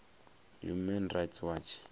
human rights watch